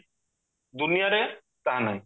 ଦୁନିଆରେ ତାହା ନାହି